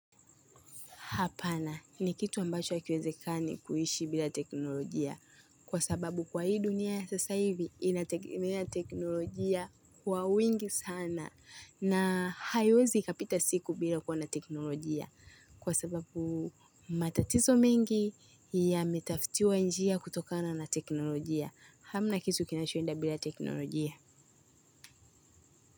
Hapana, ni kitu ambacho hakiwezekani kuishi bila teknolojia. Kwa sababu kwa hii dunia sasa hivi, inategemea teknolojia kwa wingi sana. Na haiwezi ikapita siku bila kuwa na teknolojia. Kwa sababu matatizo mengi yametafutiwa njia kutokana na teknolojia. Hamna kitu kinachoenda bila teknolojia.